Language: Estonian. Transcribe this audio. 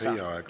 Teie aeg!